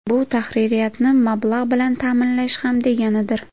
Bu tahririyatni mablag‘ bilan ta’minlash ham deganidir.